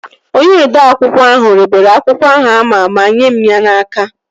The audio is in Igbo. Onye odeakwụkwọ ahụ ribere akwụkwọ ahụ ama ma nyee mụ ya n'aka